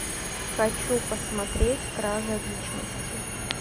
хочу посмотреть кража личности